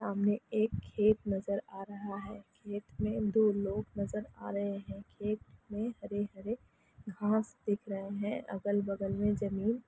सामने एक खेत नाजार आ रहा है खेत में दो लोग नजर आ रहे है खेत में हरे हरे घाँस दिख रहे है आगल-बगल में जमीन --